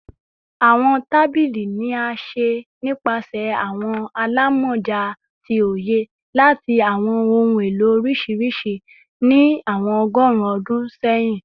Awọn tabili ni a ṣe nipasẹ awọn alamọja ti oye lati awọn ohun elo oriṣiriṣi ni awọn ọgọrun ọdun sẹyin